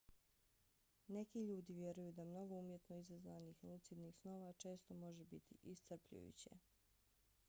neki ljudi vjeruju da mnogo umjetno izazvanih lucidnih snova često može biti iscrpljujuće